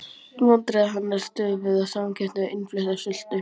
Vandræði hennar stöfuðu af samkeppni við innflutta sultu.